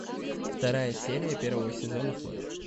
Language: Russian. вторая серия первого сезона флэш